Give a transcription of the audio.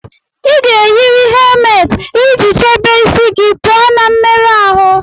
Ị ga-eyiri helmeeti iji chebe isi gị pụọ na mmerụ ahụ